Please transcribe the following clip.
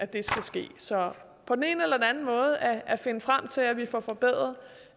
det skal ske så på den ene eller den anden måde at finde frem til at vi får forbedret